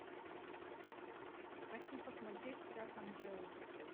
хочу посмотреть прах анджелы